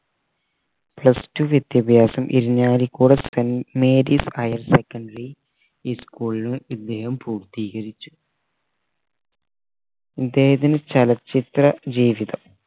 plus two വിദ്യാഭാസം Irinjalakuda saint mary highersecondary school ലും പൂർത്തീകരിച്ചു ഇദ്ദേഹത്തിന്റെ ചലച്ചിത്ര ജീവിതം